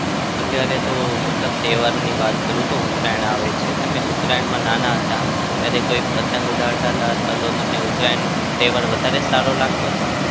okay અત્યારે તો મતલબ તહેવારની વાત કરું છું. ઉતરાયણ આવે છે. તમે ઉતરાયણમાં નાના હતા ત્યારે કોઈ પતંગ ઉડાડતા હતા અથવા તો તમને ઉતરાયણનો તહેવાર વધારે સારો લાગતો હતો?